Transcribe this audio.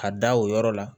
Ka da o yɔrɔ la